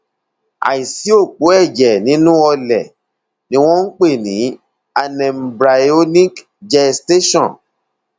àìsí òpó ẹjẹ nínú ọlẹ ni wọn ń pè ní anembryonic gestation